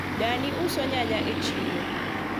dani uso nyanya e siro